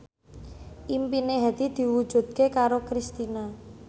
impine Hadi diwujudke karo Kristina